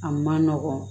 A man nɔgɔn